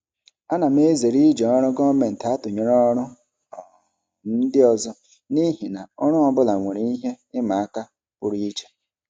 Ana m ezere iji ọrụ gọọmentị atụnyere ọrụ um ndị ọzọ n'ihi na ọrụ ọ bụla nwere ihe ịma aka pụrụ iche.